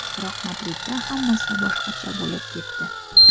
Biroq Madridda hammasi boshqacha bo‘lib ketdi.